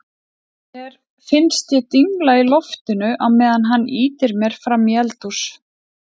Mér finnst ég dingla í loftinu á meðan hann ýtir mér frammí eldhús.